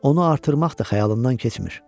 Onu artırmaq da xəyalımdan keçmir.